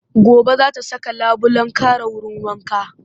Gobe za ta saka labulen kare wurin wanka